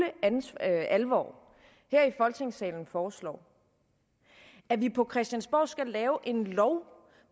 alvor her i folketingssalen foreslår at vi på christiansborg skal lave en lovgivning